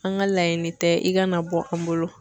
An ka laɲiniini tɛ i kana bɔ an bolo.